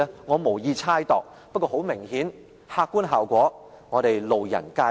我無意猜度，不過很明顯，客觀效果，我們路人皆見。